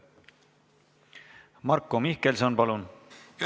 Marko Mihkelson, palun!